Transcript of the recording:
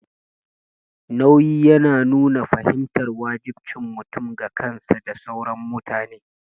Nauyi yana nuna fahimtar wajibcin mutum ga kansa da sauran mutane.